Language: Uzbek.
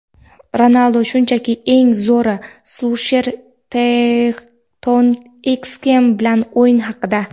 Ronaldu shunchaki eng zo‘ri – Sulsher "Tottenxem" bilan o‘yin haqida.